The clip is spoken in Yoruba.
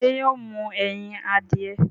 ṣé yóò mú ẹyin adìyẹ?